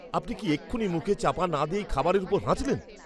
আপনি কি এক্ষুনি মুখে চাপা না দিয়েই খাবারের উপর হাঁচলেন?